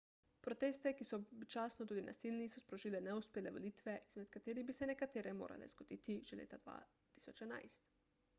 proteste ki so občasno tudi nasilni so sprožile neuspele volitve izmed katerih bi se nekatere morale zgoditi že leta 2011